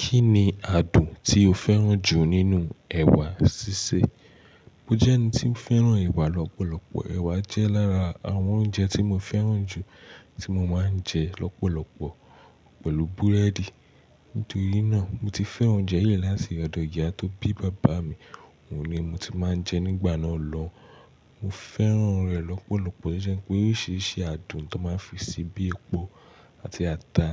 Kí ni àádùn tí o fẹ́ràn jù nínú ẹ̀wà sísè? Mo jẹ́ ẹni tí ń fẹ́ràn ẹ̀wà lọ́pọ̀lọpọ̀. Ẹ̀wà jẹ́ lára àwọn oúnjẹ tí mo fẹ́ràn jù tí mo máa ń jẹ lọ́pọ̀lọpọ̀ pẹ̀lú búrẹ́dì. Nítorí náà, mo ti fẹ́ràn oúnjẹ yìí láti ọ̀dọ̀ ìyá tó bí bàbá mi, òun ni mo ti máa ń jẹ nígbà náà lọ. Mo fẹ́ràn rẹ̀ lọ́pọ̀lọpọ̀, tó jẹ́ pé oríṣìíríṣìí àádùn tó máa ń fi sí i bíi epo àti ata,